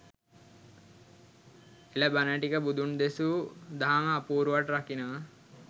එල බණ ටික බුදුන් දෙසූ දහම අපූරුවට රකිනවා